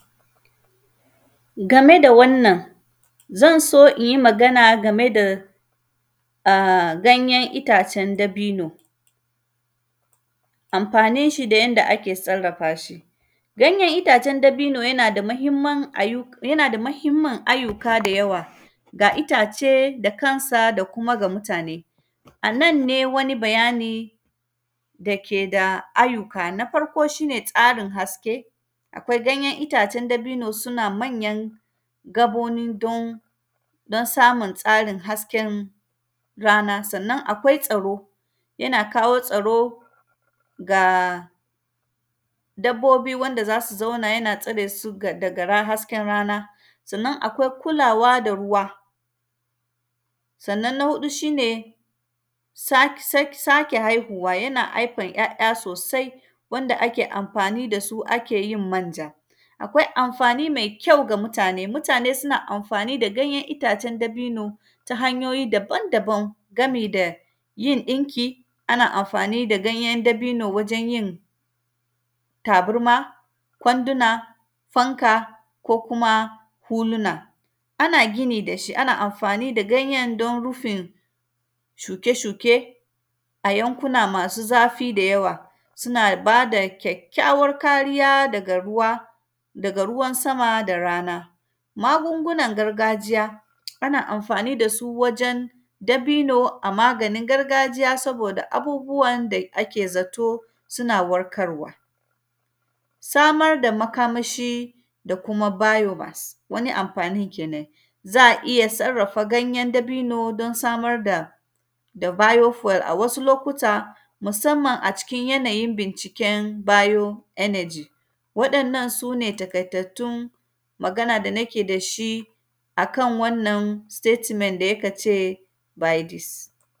Game da wannan, zan so in yi magana game da a; ganyen itacen dabino, amfanin shi da yanda ake sarrafa shi. Ganyen itacen dabino, yana da mahimman ayyu; yana da mahimmin ayyuka da yawa, ga itace da kansa da kuma ga mutane. A nan ne, wani bayani yake da ayyuka, na farko shi ne tsarin haske. Akwai ganyen itacen dabino suna manyan gaboni don, don samun tsarin hasken rana. Sannan, akwai tsaro, yana kawo tsaro ga dabbobi wanda za su zauna yana tsare su ga, daga ra; hasken rana. Sannan, akwai kulawa da ruwa, sannan, na huɗu shi ne sa; sak; sake haihuwa, yana aifan ‘ya’ya sosai, wanda ake amfani da su ake yin manja. Akwai amfani mai kyau ga mutane, mutane suna amfani da ganyen itacen dabino ta hanyoyi daban-daban gami da yin ɗinki, ana amfani da ganyen dabino wajen yin tabarma, kwanduna, fanka ko kuma hulina. Ana gini da shi, ana amfani da ganyen don rufin shuke-shuke a yankuna masu zafi da yawa. Suna ba da kyakkyawar kariya daga ruwa, daga ruwan sama da rana. Magungunan gargajiya, ana amfani da su wajen dabino a maganin gargajiya, saboda abubuwan da ake zato, suna warkarwa. Samar da makamashi da kuma bayorans, wani amfanin kenan. Za a iya sarrafa ganyen dabino don samar da, da “bio fuel” a wasu lokuta, musamman a cikin yanayin binciken “bio energy”. Waɗannan, su ne takaitattun magana da nake da shi a kan wannan “statement” da yaka ce, “by this”.